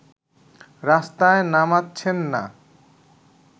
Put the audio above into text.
রাস্তায় নামাচ্ছেন না